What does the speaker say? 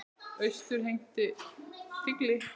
Austur henti tígli.